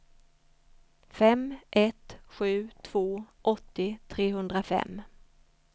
fem ett sju två åttio trehundrafem